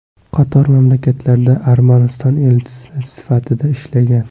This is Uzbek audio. Qator mamlakatlarda Armaniston elchisi sifatida ishlagan.